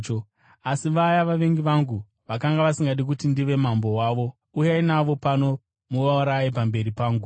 Asi vaya vavengi vangu vakanga vasingadi kuti ndive mambo wavo, uyai navo pano muvauraye pamberi pangu.’ ”